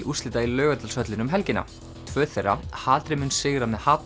úrslita í Laugardalshöllinni um helgina tvö þeirra hatrið mun sigra með